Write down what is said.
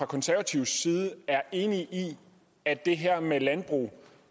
konservatives side er enig i at det her med landbrugs